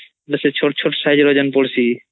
ସେ ଚୋଟ୍ ଚୋଟ୍ size ର ଯୋଉ ପଡୁଚି